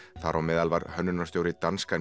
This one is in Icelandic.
þar á meðal var hönnunarstjóri danska